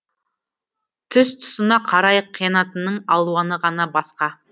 тұс тұсына қарай қиянатының алуаны ғана басқа